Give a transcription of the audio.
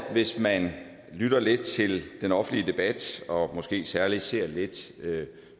hvis man lytter lidt til den offentlige debat og måske særlig ser lidt